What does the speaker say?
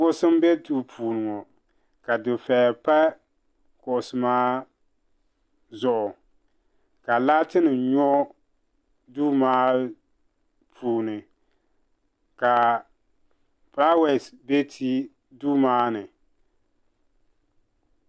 kuɣusi n by m bɛ duu puuni ŋɔ ka difɛya ka laatoni' nyɔ duu maa puuni ka fulaawesi bɛ duu maani